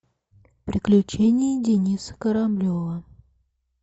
приключения дениса кораблева